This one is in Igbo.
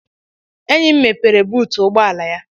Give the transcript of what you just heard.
Enyi m mepere buutu ụgbọala ya.